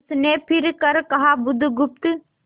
उसने फिर कर कहा बुधगुप्त